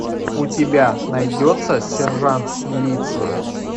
у тебя найдется сержант милиции